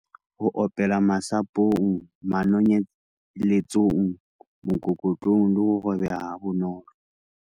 Ho opelwa- Masapong, manonyeletsong, mokokotlong le ho robeha ha bonolo.